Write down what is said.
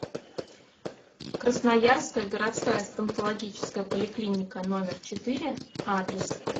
красноярская городская стоматологическая поликлиника номер четыре адрес